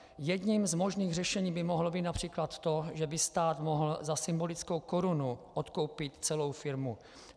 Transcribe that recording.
Jedním z možných řešení by mohlo být například to, že by stát mohl za symbolickou korunu odkoupit celou firmu.